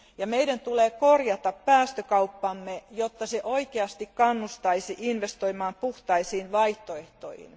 Meidän tulee korjata päästökauppamme, jotta se oikeasti kannustaisi investoimaan puhtaisiin vaihtoehtoihin.